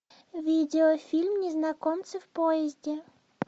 видеофильм незнакомцы в поезде